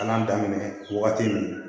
An y'a daminɛ wagati min